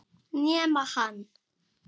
Nema hann.